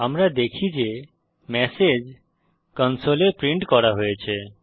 আমরা দেখি যে ম্যাসেজ কনসোলে প্রিন্ট করা হয়েছে